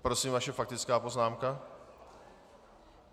Prosím, vaše faktická poznámka.